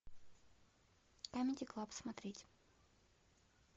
камеди клаб смотреть